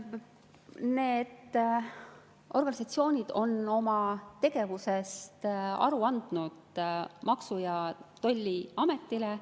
Need organisatsioonid on oma tegevusest aru andnud Maksu‑ ja Tolliametile.